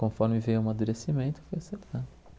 Conforme veio o madurecimento, fui acertando.